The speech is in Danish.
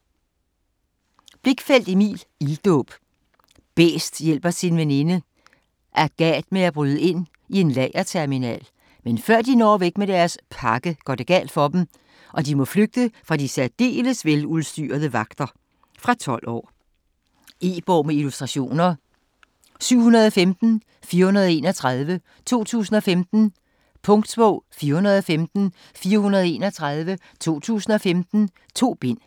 Blichfeldt, Emil: Ilddåb Bæst hjælper sin veninde Agat med at bryde ind i en lagerterminal, men før de når væk med deres "pakke", går alt galt for dem, og de må flygte fra de særdeles veludstyrede vagter. Fra 12 år. E-bog med illustrationer 715431 2015. Punktbog 415431 2015. 2 bind.